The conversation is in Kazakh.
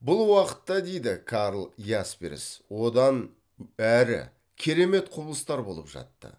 бұл уақытта дейді карл ясперс одан әрі керемет құбылыстар болып жатты